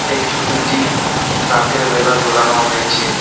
এই ছবিটি রাতেরবেলা তোলানো হয়েছে।